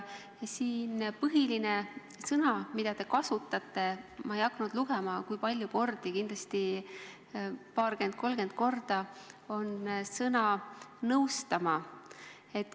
Põhiline sõna, mida te kasutanud olete – ma ei hakanud lugema, kui palju kordi see kõlas, aga kindlasti paarkümmend-kolmkümmend korda –, on sõna "nõustama".